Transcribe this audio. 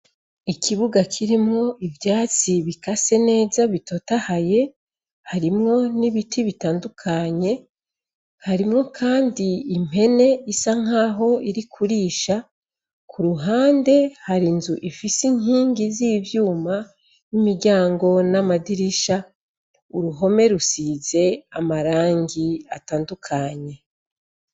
Ikibuga kirimwo ivyatsi bikase neza bitotahaye harimwo n'ibiti bitandukanye harimwo kandi impene isa nkaho iri kurisha ku ruhande hari nzu ifise inkingi z'ivyuma n'imiryango n'amadirisha uruhome rusize amarangi atandukanye.